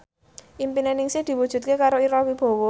impine Ningsih diwujudke karo Ira Wibowo